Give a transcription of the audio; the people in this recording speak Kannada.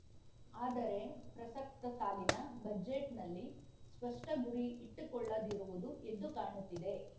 ಆದರೆ ಪ್ರಸಕ್ತ ಸಾಲಿನ ಬಜೆಟ್‌ನಲ್ಲಿ ಸ್ಪಷ್ಟಗುರಿ ಇಟ್ಟುಕೊಳ್ಳದಿರುವುದು ಎದ್ದು ಕಾಣುತ್ತಿದೆ